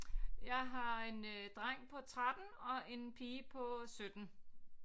Jeg har en øh dreng på 13 og en pige på 17